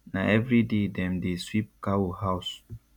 na everyday dem dey sweep cow house